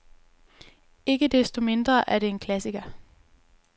Ikke desto mindre er det en klassiker.